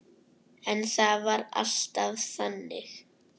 En það var alltaf þannig.